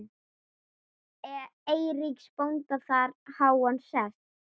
Eiríks bónda þar háan sess.